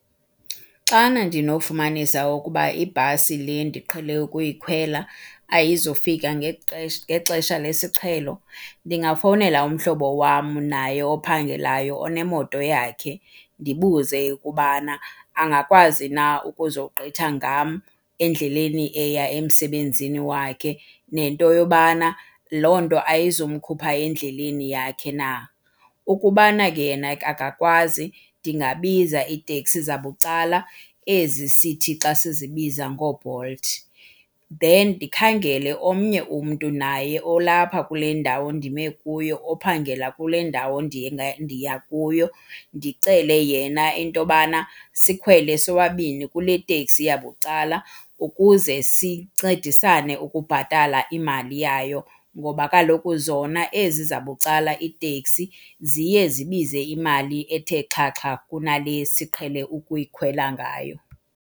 Xana ndinofumanisa ukuba ibhasi le ndiqhele ukuyikhwela ayizufika ngexesha lesiqhelo ndingafowunela umhlobo wam naye ophangelayo onemoto yakhe, ndibuze ukubana angakwazi na ukuzogqitha ngam endleleni eya emsebenzini wakhe nento yobana loo nto ayizumkhupha endleleni yakhe na. Ukubana yena ke akakwazi ndingabiza iiteksi zabucala ezi sithi xa sizibiza ngooBolt. Then ndikhangele omnye umntu naye olapha kule ndawo ndime kuyo ophangela kule ndawo ndiya kuyo, ndicele yena into yobana sikhwele sobabini kule teksi yabucala ukuze sincedisane ukubhatala imali yayo ngoba kaloku zona ezi zabucala iiteksi ziye zibize imali ethe xhaxha kunale siqhele ukuyikhwela ngayo.